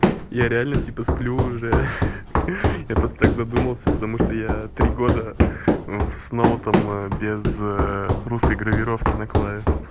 я реально типа сплю уже ха-ха я просто так задумался потому что я три года в с ноутом без русской гравировки на клаве